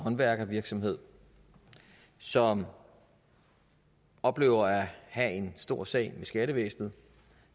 håndværkervirksomhed som oplever at have en stor sag med skattevæsenet